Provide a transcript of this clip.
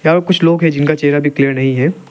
और कुछ लोग हैं जिनका चेहरा भी क्लियर नहीं है।